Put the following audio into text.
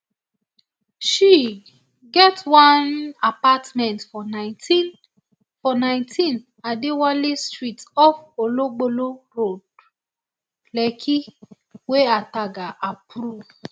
she get one apartment for nineteen for nineteen adewale street off ologbolo road lekki wey ataga approve